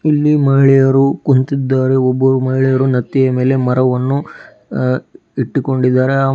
ಇಲ್ಲಿ ಮಹಿಳೆಯರು ಕುಂತಿದ್ದಾರೆ ಒಬ್ಬ ಮಹಿಳೆಯರು ನತ್ತಿಯ ಮೆಲೆ ಮರವನ್ನು ಅ ಇಟ್ಟುಕೊಂಡಿದಾರೆ ಆ --